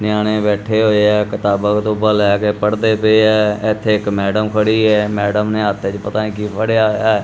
ਨਿਆਣੇ ਬੈਠੇ ਹੋਏ ਆ ਕਿਤਾਬਾਂ ਕਤੁਬਾ ਲੈ ਕੇ ਪੜਦੇ ਪਏ ਆ ਇੱਥੇ ਇਕ ਮੈਡਮ ਖੜੀ ਐ ਮੈਡਮ ਨੇ ਹੱਥ ਏ 'ਚ ਪਤਾ ਕੀ ਫੜਿਆ ਹੋਇਆ ਐ।